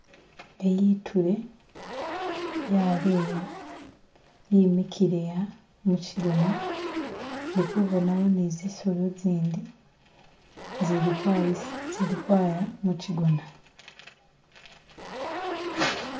Eyi e'tray yaleya yimikile'a mukigona, ndikubonawo ne zizolo zindi zili kwaya mukigona.